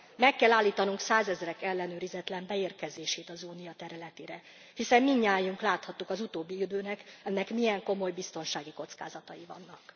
Meg kell állítanunk százezrek ellenőrizetlen beérkezését az Unió területére, hiszen mindnyájan láthattuk az utóbbi időben, ennek milyen komoly biztonsági kockázatai vannak.